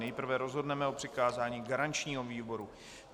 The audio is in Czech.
Nejprve rozhodneme o přikázání garančnímu výboru.